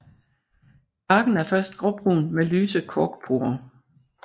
Barken er først gråbrun med lyse korkporer